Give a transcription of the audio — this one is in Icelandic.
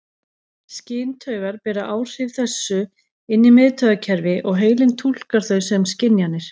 Skyntaugar bera áhrif þessi inn í miðtaugakerfi og heilinn túlkar þau sem skynjanir.